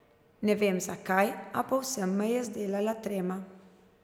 Ne vem, zakaj, a povsem me je zdelala trema.